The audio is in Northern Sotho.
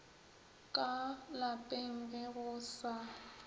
ka lapeng ge go sa